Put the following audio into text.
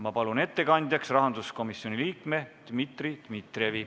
Ma palun ettekandjaks rahanduskomisjoni liikme Dmitri Dmitrijevi.